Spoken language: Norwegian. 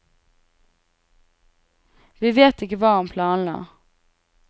Vi vet ikke hva han planla.